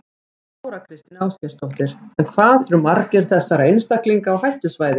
Þóra Kristín Ásgeirsdóttir: En hvað eru margir þessara einstaklinga á hættusvæði?